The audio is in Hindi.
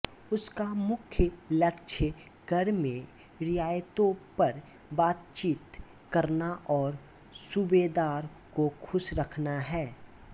उसका मुख्य लक्ष्य कर में रियायतों पर बातचीत करना और सूबेदार को खुश रखना है